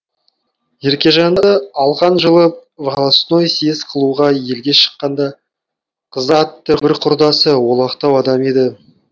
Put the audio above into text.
еркежанды алған жылы волостной съез қылуға елге шыққаңда қыздар атты бір құрдасы олақтау адам еді